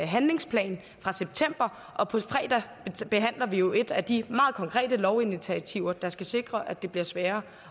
handlingsplan fra september og på fredag behandler vi jo et af de meget konkrete lovinitiativer der skal sikre at det bliver sværere